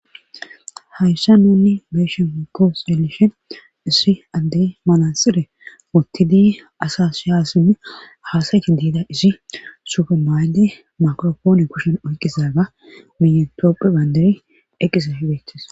Hayssan nuuni be'ishin woykko xeelishin issi adde manxire wothidi asasi hasayishe dizayssa izi suufe mayizi makirapoone kushen oykidaga miyan tophiya bandiray eqqizay beetees.